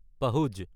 পাহুজ